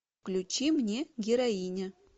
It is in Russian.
включи мне героиня